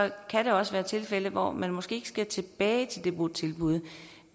kan også være tilfælde hvor man måske ikke skal tilbage til det botilbud